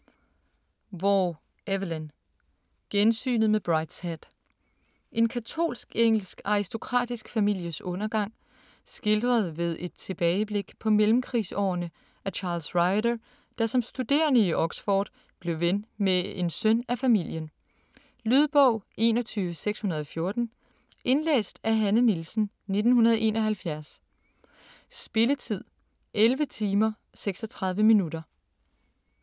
Waugh, Evelyn: Gensynet med Brideshead En katolsk engelsk aristokratisk families undergang, skildret ved et tilbageblik på mellemkrigsårene af Charles Ryder, der som studerende i Oxford blev ven med en søn af familien. Lydbog 21614 Indlæst af Hanne Nielsen, 1971. Spilletid: 11 timer, 36 minutter.